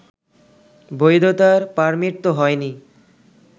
বৈধতার পার্মিট তো হয়নি